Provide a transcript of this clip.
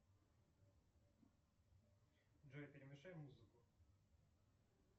джой перемешай музыку